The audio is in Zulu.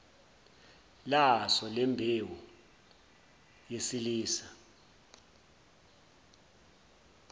laso lembewu yesilisa